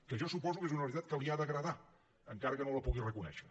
que jo suposo que és una realitat que li ha d’agradar encara que no la pugui reconèixer